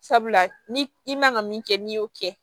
Sabula ni i man kan ka min kɛ n'i y'o kɛ